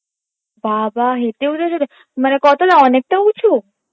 বাবা হেঁটে উঠেছিলে মানে ক তলা অনেকটা উচু?